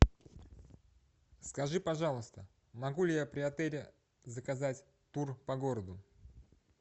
скажи пожалуйста могу ли я при отеле заказать тур по городу